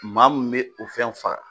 Maa mun bɛ o fɛnw faga.